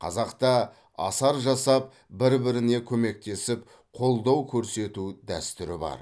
қазақта асар жасап бір біріне көмектесіп қолдау көрсету дәстүрі бар